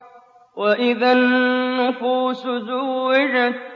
وَإِذَا النُّفُوسُ زُوِّجَتْ